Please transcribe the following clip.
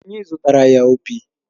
Anyị zụtaara ya opi